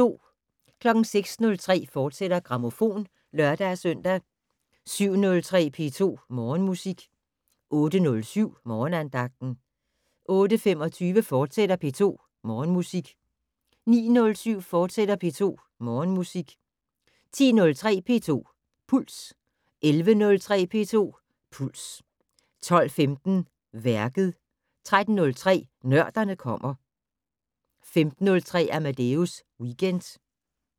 06:03: Grammofon, fortsat (lør-søn) 07:03: P2 Morgenmusik 08:07: Morgenandagten 08:25: P2 Morgenmusik, fortsat 09:07: P2 Morgenmusik, fortsat 10:03: P2 Puls 11:03: P2 Puls 12:15: Værket 13:03: Nørderne kommer 15:03: Amadeus Weekend